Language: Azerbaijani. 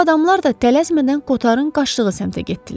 Bu adamlar da tələsmədən Koterin qaçdığı səmtə getdilər.